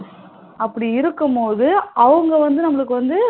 அப்டி இருக்கும் போது அவங்க வந்து நமளுக்கு வந்து